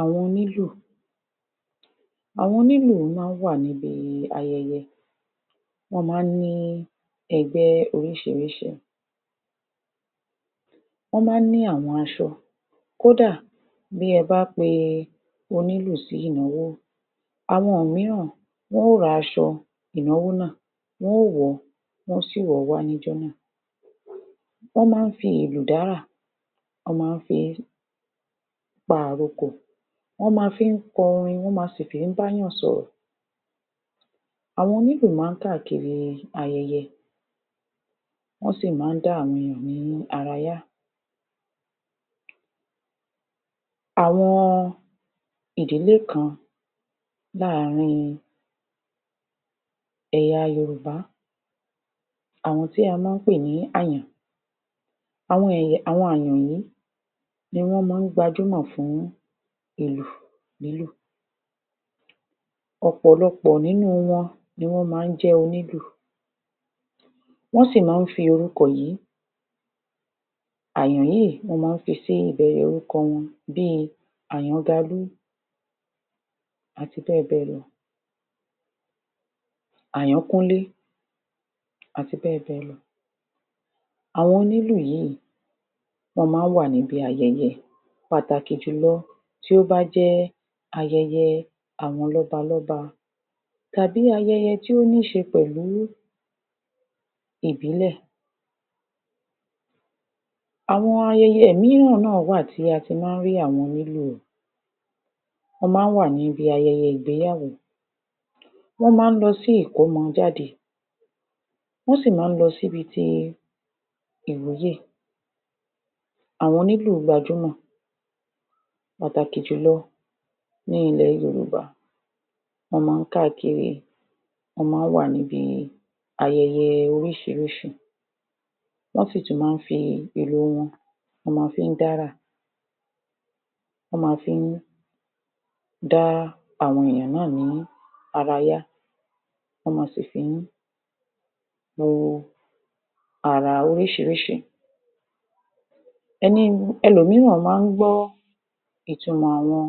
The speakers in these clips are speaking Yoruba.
Àwọn Onílù Àwọn onílù máa ń wà níbi ayẹyẹ, wọ́n máa ń ní ẹgbẹ́ oríṣiríṣi. Wọ́n máa ń ní àwọn aṣọ, kódà bí ẹ bá pe e onílù sí ìnáwó, àwọn mìíran wọn ó ra aṣọ ìnáwó náà. Wọn ó wọ̀ ọ́, wọn ó sì wọ̀ ọ́ wá níjọ́ náà. Wọ́n máa ń fi ìlù dárà, wọ́n máa ń fi pa àrokò, wọ́n máa fi ń kọrin, wọ́n ma sì fi ń bá èèyàn sọ̀rọ̀. Àwọn onílù máa ń káàkiri ayẹyẹ, wọ́n sì máa ń dá àwọn ènìyàn ní ara yá. Àwọn ìdílé kan láàárín ẹ̀yà Yorùbá àwọn tí a máa ń pè ní ‘Àyàn’. àwọn àyàn yìí ni wọ́n máa ń gbajúmọ̀ fún ìlù lílù. Ọ̀pọ̀lọpọ̀ nínú wọn ni wọ́n máa ń jẹ́ onílù, wọ́n sì máa ń fi orúkọ yìí, àyàn yíì, wọ́n máa ń fi sí ìbẹ̀rẹ̀ orúkọ wọn bí i Àyángalú àti bẹ́ẹ̀ bẹ́ẹ̀ lọ, Àyánkúnlé àti bẹ́ẹ̀ bẹ́ẹ̀ lọ. Àwọn onílù yíì, wọ́n ma ń wà níbi ayẹyẹ, pàtàkì jùlọ tí ó bá jẹ́ ayẹyẹ àwọn lọ́ba-lọ́ba tàbí ayẹyẹ tí ó ní ṣe pẹ̀lú ìbílẹ̀. Àwọn ayẹyẹ mìíran náà wà tí a ti máa ń rí àwọn onílù Wọ́n ma ń wà níbi ayẹyẹ ìgbéyàwó, wọ́n má ń lọ sí ìkọ́mọjáde, wọ́n sì ma ń lọ sí ibi ti ìwúyè. Àwọn onílù gbajúmọ̀ pàtàkì jùlọ ní ilẹ̀ Yorùbá, wọ́n máa ń káàkiri, wọ́n máa ń wà níbi ayẹyẹ oríṣiríṣi. Wọ́n sì tún máa ń fi ìlù wọn, wọ́n ma fi ń dárà. Wọ́n ma fí ń dá àwọn èèyàn náà ní arayá, wọ́n ma sì fí ń àrà oríṣiríṣi. elòmíràn máa ń gbọ́ ìtumọ̀ àwọn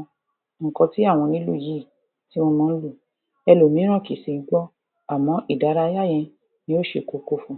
nǹkan tí àwọn onílù yìí tí wọ́n ma ń lù, elòmíràn kì sì í gbọ́ àmọ́ ìdárayá yẹn ni ó ṣe kókó fun.